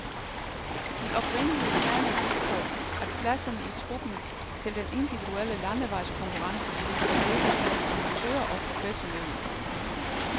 De oprindelige planer gik på, at pladserne i truppen til den individuelle landevejskonkurrence skulle fordeles mellem amatører og professionelle.